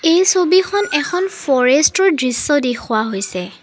এই ছবিখন এখন ফৰেষ্টৰ দৃশ্য দেখুওৱা হৈছে।